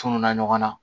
Tununna ɲɔgɔn na